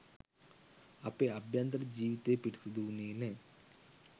අපේ අභ්‍යන්තර ජීවිතය පිරිසිදු වුණේ නෑ.